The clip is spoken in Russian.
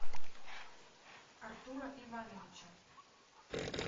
артура ивановича